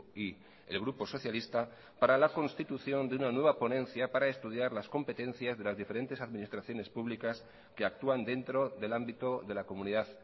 y el grupo socialista para la constitución de una nueva ponencia para estudiar las competencias de las diferentes administraciones públicas que actúan dentro del ámbito de la comunidad